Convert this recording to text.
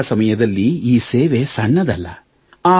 ಇಂತಹ ಸಮಯದಲ್ಲಿ ಈ ಸೇವೆ ಸಣ್ಣದಲ್ಲ